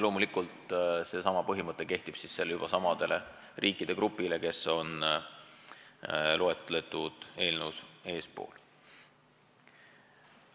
Loomulikult seesama põhimõte kehtib ka siis, kui tegu on samade riikide grupiga, mida eelnõus on eespool nimetatud.